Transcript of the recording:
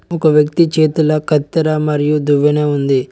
ఒక వ్యక్తి చేతుల కత్తెర మరియు దువ్వెన ఉంది.